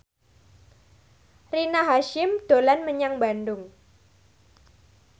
Rina Hasyim dolan menyang Bandung